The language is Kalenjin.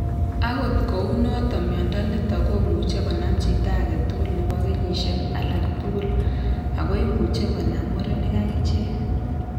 Agot kou noton mnyondo niton komuche konam chi agetugul nebo kenyisiek alagtugul ago imuche konam murenik agichek